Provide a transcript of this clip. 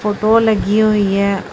Photo ਲੱਗੀ ਹੋਈ ਹੈ।